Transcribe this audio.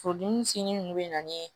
Furudimi si ninnu bɛ na ni